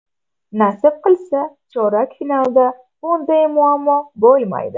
Nasib qilsa, chorak finalda bunday muammo bo‘lmaydi.